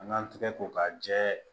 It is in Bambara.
An ŋan tɛgɛ ko k'a jɛ